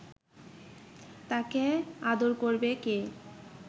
তাকে আদর করবে কে